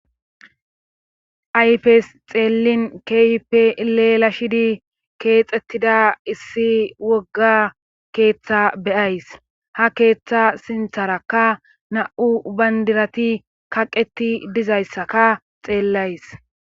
ayfes xeellin keype leela shidi keexettida issi wogga keeththa beyays ha keeththa sintharakka na7u bandirati kaqeti dizayssaka xeellays.